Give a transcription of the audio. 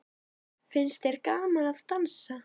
Finnst þér gaman að dansa?